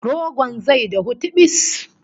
Rogon zai dahu tibis!